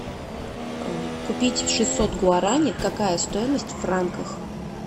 купить шестьсот гуарани какая стоимость в франках